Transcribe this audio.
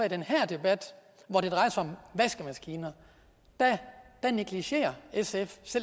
i den her debat hvor det drejer sig om vaskemaskiner negligerer selv